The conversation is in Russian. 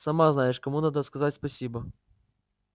сама знаешь кому надо сказать спасибо